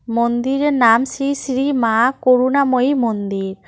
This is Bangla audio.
মন্দিরের নাম শ্রী শ্রী মা করুণাময়ী মন্দির।